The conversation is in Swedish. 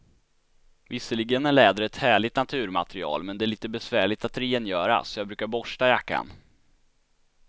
Visserligen är läder ett härligt naturmaterial, men det är lite besvärligt att rengöra, så jag brukar borsta jackan.